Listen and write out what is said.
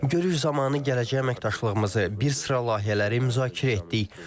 Görüş zamanı gələcək əməkdaşlığımızı bir sıra layihələri müzakirə etdik.